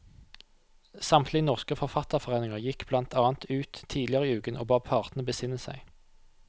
Samtlige norske forfatterforeninger gikk blant annet ut tidligere i uken og ba partene besinne seg.